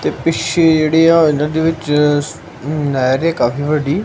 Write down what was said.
ਤੇ ਪਿੱਛੇ ਜਿਹੜੀ ਆ ਇਹਨਾਂ ਦੇ ਵਿੱਚ ਨਹਿਰ ਹੈ ਕਾਫੀ ਵੱਡੀ।